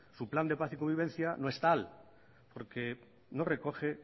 su plan de paz y convivencia no es tal porque no recoge